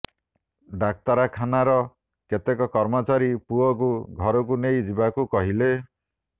ଡାକ୍ତରାଖାନାର କେତେକ କର୍ମଚାରୀ ପୁଅକୁ ଘରକୁ ନେଇ ଯିବାକୁ କହିଲେ